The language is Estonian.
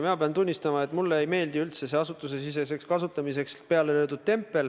Ma pean tunnistama, et mulle ei meeldi üldse see "Asutusesiseseks kasutamiseks" peale löödud tempel.